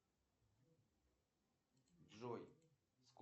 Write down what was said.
салют узнай баланс кредитной карты